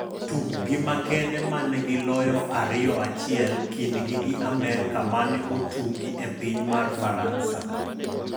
Tukgi makende mane gi loyo 2-1 kindgi gi Amerka mane otugi e piny mar Faransa.